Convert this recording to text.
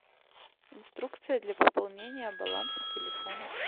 инструкция для пополнения баланса телефона